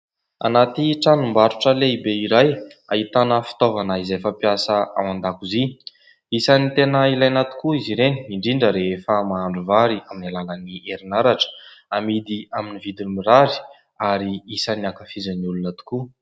Anaty tranombarotra lehibe iray ahitana fitaovana izay fampiasa ao an-dakozia; isan'ny tena ilaina tokoa izy ireny indrindra rehefa mahandro vary amin'ny alalan'ny herinaratra amidy amin'ny vidiny mirary ary isan'ny ankafizan'ny olona tokoa.